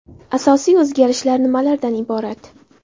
Asosiy o‘zgarishlar nimalardan iborat?.